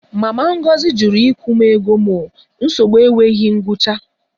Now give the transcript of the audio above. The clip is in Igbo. Mama Ngozi jụrụ ịkwụ m ego m o, nsogbu enweghị ngwụcha